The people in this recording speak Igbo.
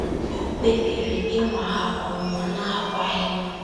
O kpebiri ịnwa ha ọnwụnwa n’agwaghị m.